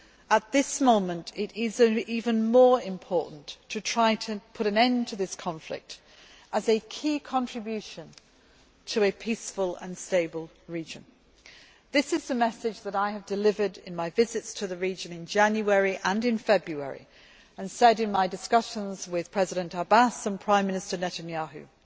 At this moment, it is even more important to try to put an end to this conflict, as a key contribution towards a peaceful and stable region. This is the message which I have delivered in my visits to the region in January and in February and in my discussions with President Abbas and Prime Minister Netanyahu